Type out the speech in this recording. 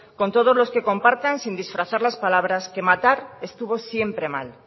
con todos los que compartan sin disfrazar las palabras que matar estuvo siempre mal